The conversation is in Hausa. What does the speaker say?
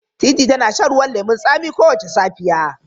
Teetea tana shan ruwan lemun tsami kowace safiya.